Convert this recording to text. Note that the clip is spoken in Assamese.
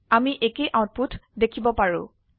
আমি একেই আউটপুট দেখিব পাৰো